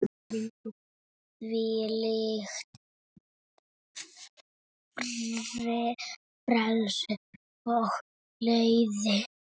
Þvílíkt frelsi og gleði.